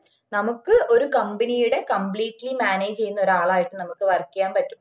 നമുക്ക് ഒരു company യുടെ completely manage ചെയ്യുന്ന ഒരാളായിട്ട് നമുക്ക് work ചെയ്യാൻ പറ്റും